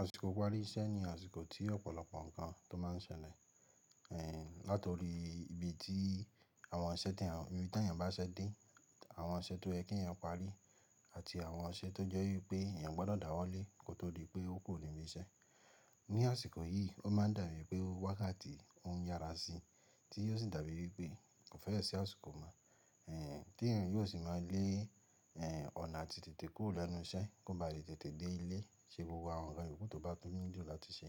Àsìkò ìparí iṣẹ́ ni àsìkò tí ọ̀pọ̀lọpọ̀ ǹkan tó máa ń ṣẹlẹ̀. Látorí ibi tí àwọn iṣẹ́ tí èyàn, ibi tí èèyàn bá ṣe dé, àwọn iṣẹ́ tó yẹ kí èèyàn parí àti àwọn iṣẹ́ tó jẹ́ wípẹ́ èèyàn gbọ́dọ̀ dàwọ́lé kó tó dí pé ó kúrò ni ilè iṣẹ́. Ni àsìkò yìí ó máa ń dàbí pé ó wákàtí oun yára sí tí yóò sì dàbí wípẹ́ kò fẹ́ ṣi àsìkò mọ́. Tí èèyàn yóò sì máa lé, ọ̀nà àti tètè kúrò lẹ́nu iṣẹ́ kó ba lè tètè dé ilé ṣe gbogbo àwọn ǹkan ìyókù tó bá tún ní dí làti ṣe.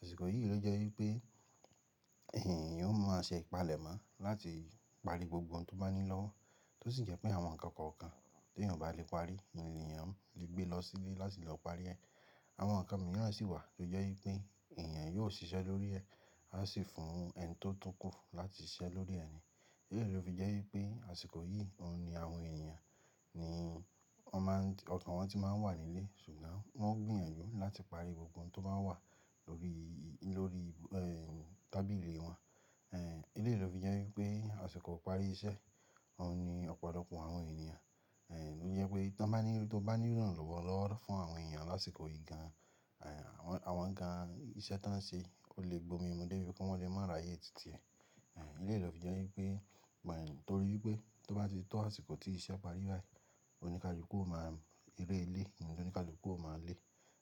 Àsìkò yìí ló jẹ́ wípẹ́ èèyàn yóò máa ṣe ìpalẹ̀mọ́ láti parí gbogbo ohun tó bá ní lọ́wọ́, tó sì jẹ́ pé àwọn ǹkan kọ̀ọ̀kan tí èèyàn o bá le parí, èèyàn lè gbé lọ sílé láti lọ parí ẹ. Àwọn ǹkan mìíràn sì wà tó jẹ́ wípẹ́ èèyàn yóò ṣiṣẹ́ lórí ẹ, a sì fún ẹni tó tún kù láti ṣiṣẹ́ lórí ẹ ni. Éèyí ló fi jẹ́ wípẹ́ àsìkò yìí òun ni àwọn èèyàn ni wọ́n máa ń, okan won tí máa ń wà nílé, ṣùgbọ́n wọ́n gbìyànjú láti parí gbogbo ohun tó máa ń wà lórí, lórí tábìlì wọn. Èléyí ló fi jẹ́ wípẹ́ àsìkò ìparí iṣẹ́ òun ni ọ̀pọ̀lọpọ̀ àwọn èèyàn. Êhn, tó jẹ́ pé tó bá ní, tó bá ní lòun lọ́wọ́ lọ́ fún àwọn èèyàn lásìkò yìí gan, ê àwọn, àwọn ǹkan iṣẹ́ tí wọ́n ṣe ó lè gbomi mú dé ibi kí wọ́n lè máa ráyè tìtì ẹ. Ê àń, èyí ló fi jẹ́ wípẹ́ mọ̀, nítorí wípẹ́ tó bá ti tó àsìkò tí iṣẹ́ parí báyìí, oníkálukú ó máa rẹ́ ilé, oníkálukú ó máa lé.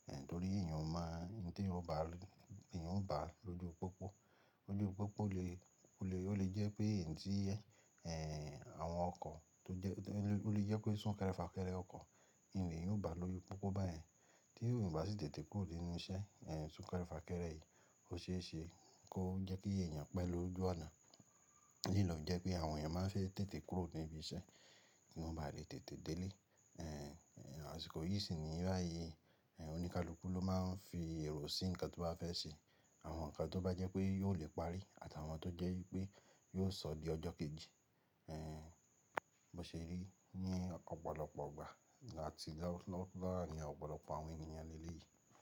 Ê àń, torí èèyàn ó máa ń tí èèyàn bá, èèyàn ó bá lóju pópó. Lójú pópó le, ó lè, ó lè jẹ́ pé ǹ tí ẹ, ê àwọn ọkọ̀ tó jẹ́, tó lè jẹ́ pé sún kẹ́rẹ́ fà kẹ́rẹ́ ọkọ̀ n le yan o bá lóju pópó báyèn. Tí òun bá sì tètè kúrò nínú iṣẹ́, ê sún kẹ́rẹ́ fà kẹ́rẹ́ yìí ó ṣe é ṣe kó jẹ́ kí èèyàn pẹ́ lójo àná. Èyí ló jẹ́ pé àwọn èèyàn máa ń fẹ́ tètè kúrò nínú ibi iṣẹ́ kí wọ́n bá lè tètè dé ilé. Ê àń, àsìkò yìí sì ni báyìí oníkálukú ló máa ń fi èrò sí ǹkan tó bá fẹ́ sè awon nkan to je pe yoolè parí, ati awon to jè wìpè yoo sò dí ojò kejí Ê bó ṣe rí ní ọ̀pọ̀lọpọ̀ igbà àti láwọ̀, láwọ̀ ní ọ̀pọ̀lọpọ̀ àwọn èèyàn nílé yìí.